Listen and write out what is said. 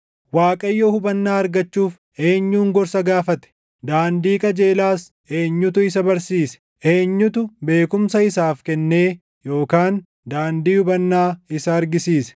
Waaqayyo hubannaa argachuuf eenyun gorsa gaafate? Daandii qajeelaas eenyutu isa barsiise? Eenyutu beekumsa isaaf kennee yookaan daandii hubannaa isa argisiise?